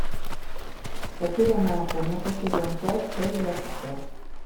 потерянная комната сезон пять часть двадцать пять